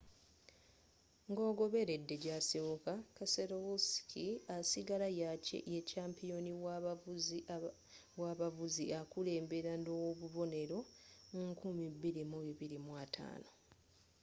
nga ogobeledde jasibuka keselowski asigara ye kyampiyoni w'abavuzi akulembera nobubonero 2,250